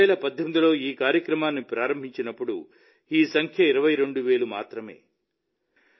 మొదట 2018లో ఈ కార్యక్రమాన్ని ప్రారంభించినప్పుడు ఈ సంఖ్య 22000 మాత్రమే